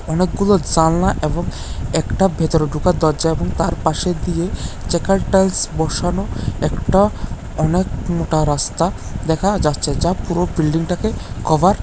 অনেকগুলো জানলা এবং একটা ভেতরে ঢোকার দরজা এবং তার পাশে দিয়ে চেকার টাইলস বসানো একটা অনেক মোটা রাস্তা দেখা যাচ্ছে যা পুরো বিল্ডিংটাকে -টাকে কভার --